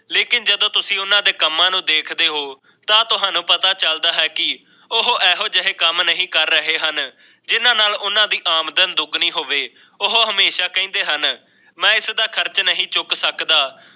ਲੇਕਿਨ ਜਦੋਂ ਤੁਸੀ ਉਹਨਾਂ ਦੇ ਕੰਮਾਂ ਨੂੰ ਦੇਖਦੇ ਹੋ ਤਾਂ ਤੁਹਾਨੂੰ ਪਤਾ ਚਲਦਾ ਹੈ ਕਿ ਜੇ ਕੰਮ ਨਹੀਂ ਕਰ ਰਹੇ ਹਨ ਆਮਦਨ ਦੁੱਗਣੀ ਹੋ ਉਹ ਹਮੇਸ਼ਾ ਕਹਿੰਦੇ ਹਾਂ ਤਾਂ ਇਸ ਦਾ ਖਰਚ ਨਹੀਂ ਚੁੱਕ ਸਕਦਾ